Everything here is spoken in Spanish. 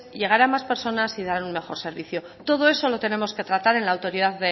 llegar a más personas y dar un mejor servicio todo eso lo tenemos que tratar en la autoridad